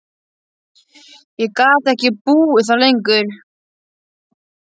Ég gat ekki búið þar lengur.